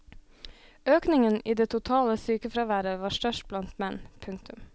Økningen i det totale sykefraværet var størst blant menn. punktum